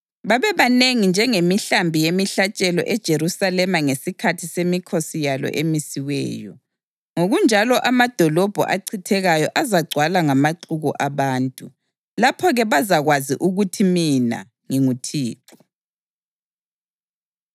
babebanengi njengemihlambi yemihlatshelo eJerusalema ngesikhathi semikhosi yalo emisiweyo. Ngokunjalo amadolobho achithekayo azagcwala ngamaxuku abantu. Lapho-ke bazakwazi ukuthi mina nginguThixo.”